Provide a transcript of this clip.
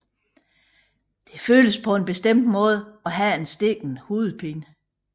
Det føles på en bestemt måde at have en stikkende hovedpine